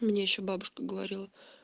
мне ещё бабушка говорила